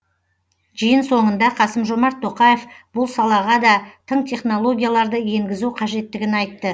жиын соңында қасым жомарт тоқаев бұл салаға да тың технологияларды енгізу қажеттігін айтты